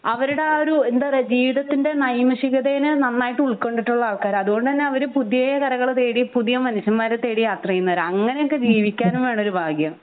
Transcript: അവരുടെ ആ ഒരു എന്താ പറയേ ജീവിതത്തിൻ്റെ നൈമഷികതേനെ നന്നായിട്ട് ഉൾക്കൊണ്ടിട്ടുള്ള ആൾക്കാരാണ് അതുകൊണ്ട് തന്നെ അവർ പുതിയ കരകൾ തേടി പുതിയ മനുഷ്യന്മാരെ തേടി യാത്ര ചെയ്യുന്നവരാണ് അങ്ങിനെ ഒക്കെ ജീവിക്കാനും വേണം ഒരു ഭാഗ്യം